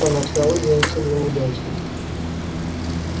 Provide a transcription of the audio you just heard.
поначалу день сулил удачу